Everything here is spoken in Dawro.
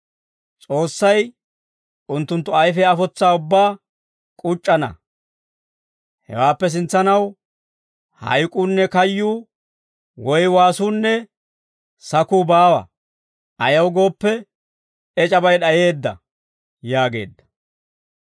S'oossay unttunttu ayfiyaa afotsa ubbaa k'uc'c'ana. Hawaappe sintsanaw hayk'uunne kayyuu woy waasuunne sakuu baawa. Ayaw gooppe, ec'abay d'ayeedda» yaageedda.